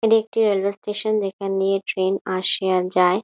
এটি একটি railway station যেখান দিয়ে ট্রেন আসে আর যায়।